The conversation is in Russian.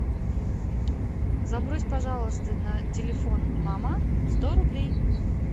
забрось пожалуйста на телефон мама сто рублей